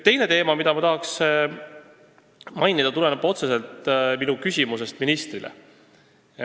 Teine teema, mida ma tahan mainida, tuleneb otseselt minu küsimusest ministrile.